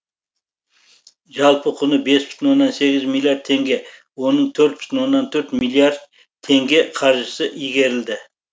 жалпы құны бес бүтін оннан сегіз миллиард теңге оның төрт бүтін оннан төрт миллиард теңге қаржысы игерілді